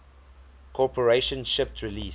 corporation shipped release